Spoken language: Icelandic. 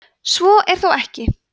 svo er þó ekki